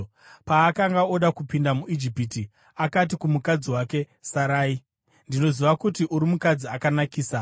Paakanga oda kupinda muIjipiti, akati kumukadzi wake, Sarai, “Ndinoziva kuti uri mukadzi akanakisa.